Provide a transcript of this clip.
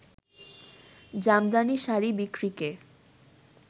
Jamdani sari বিক্রিকে